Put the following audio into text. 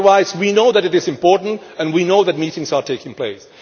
Otherwise we know it is important and we know that meetings are taking place.